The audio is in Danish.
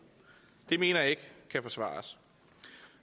det mener jeg ikke kan forsvares